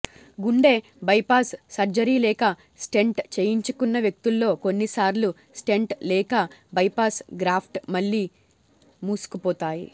గుండె bypass surgery లేక stent చేయించుకున్న వ్యక్తుల్లో కొన్నిసార్లు స్టెంట్ లేక బైపాస్ గ్రాఫ్ట్స్ మళ్లీ మూసుకుపోతాయి